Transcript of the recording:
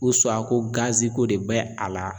ko ko de bɛ a la